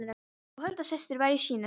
Og Hulda systir var í sínum.